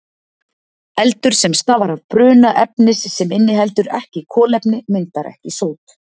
Eldur sem stafar af bruna efnis sem inniheldur ekki kolefni myndar ekki sót.